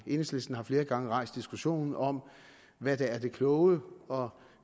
enhedslisten har flere gange rejst diskussion om hvad der er det kloge og